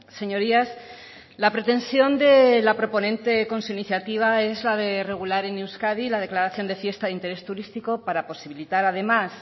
señorías la pretensión de la proponente con su iniciativa es la de regular en euskadi la declaración de fiesta de interés turístico para posibilitar además